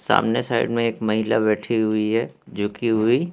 सामने साइड में एक महिला बैठी हुई है जो कि हुई--